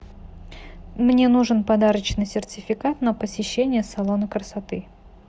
мне нужен подарочный сертификат на посещение салона красоты